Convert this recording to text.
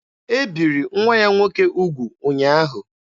E biri nwa ya nwoke ugwu ụnyaahụ.